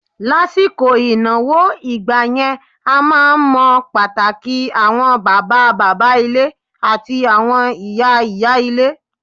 Lásìkò ìnáwó ìgbà yẹn, a máa ń mọ pàtàkì àwọn bàbá bàbá ilé àti àwọn ìyá ìyá ilé.